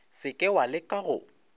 se ke wa leka go